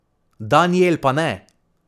Danijel pa ne!